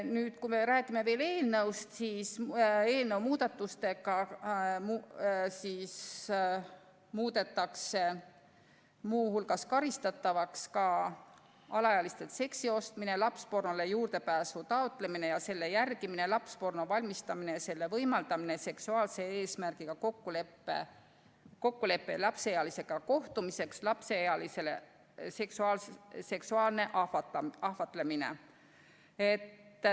Nüüd, kui me räägime veel eelnõust, siis selle kohaselt muudetakse muu hulgas karistatavaks ka alaealistelt seksi ostmine, lapspornole juurdepääsu taotlemine ja selle jälgimine, lapsporno valmistamine ja selle võimaldamine, seksuaalse eesmärgiga kokkulepe lapseealisega kohtumiseks, lapseealise seksuaalne ahvatlemine.